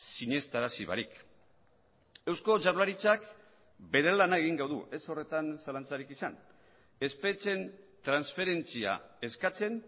sinestarazi barik eusko jaurlaritzak bere lana egingo du ez horretan zalantzarik izan espetxeen transferentzia eskatzen